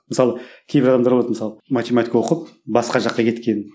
мысалы кейбір адамдар болады мысалы математика оқып басқа жаққа кеткен